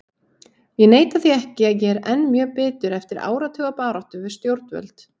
Ég neita því ekki að ég er enn mjög bitur eftir áratuga baráttu við stjórnvöld.